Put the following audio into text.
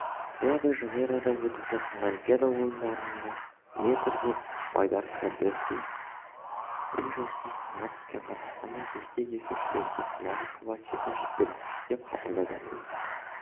рио-де-жанейрода өтіп жатқан олимпиада ойындарының метрге байдаркадаесу спринт жарысында сынға түскен қазақстандық ескек есушілерге финалға шығуға секунд жетпеді деп хабарлайды тілшісі